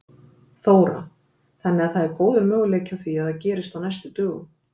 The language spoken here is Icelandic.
Þóra: Þannig að það er góður möguleiki á því að það gerist á næstu dögum?